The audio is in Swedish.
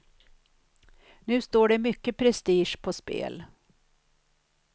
Nu står det mycket prestige på spel.